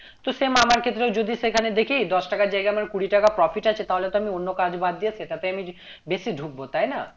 তো same আমার ক্ষেত্রেও যদি সেখানে দেখি দশ টাকার জায়গায় আমার কুড়ি টাকার profit আছে তাহলে তো আমি অন্য কাজ বাদ দিয়ে সেটাতেই আমি বেশি ঢুকবো তাই না?